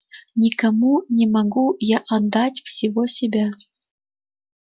никому не могу я отдать всего себя